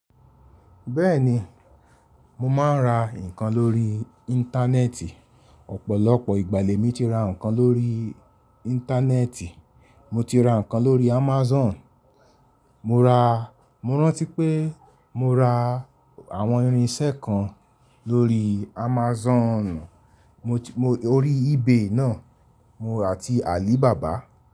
Bẹ́ẹ̀ni, mo máa ń ra nǹkan lórí Íńtánẹ́ẹ̀tì. Ọ̀pọ̀lọpọ̀ ìgbà lẹ̀ mi ti ra nǹkan lórí Íńtánẹ́ẹ̀tì. Mo ti ra nǹkan lórí Amazon. Mo ra, Mo rántí pé mo ra àwọn irinṣẹ́ kan lórí Amazon, orí eBay náà àti Alibaba.